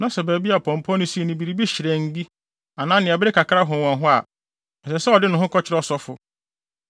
na sɛ baabi a pɔmpɔ no sii no biribi hyerɛnn bi, anaa nea ɛbere kakra hon wɔ hɔ a, ɛsɛ sɛ ɔde ne ho kɔkyerɛ ɔsɔfo.